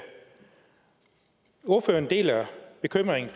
ordføreren deler bekymringen